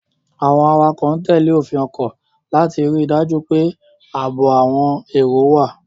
Àwọn awakọ̀ ń tẹ̀lé òfin ọkọ̀ láti rí i dájú pé ààbò àwọn èrò wà.